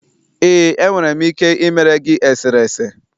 ee, enwere m ike ịmere gị eserese.